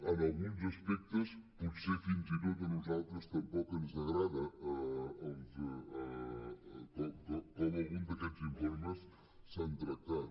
en alguns aspectes potser fins i tot a nosaltres tampoc ens agrada com algun d’aquests informes s’han tractat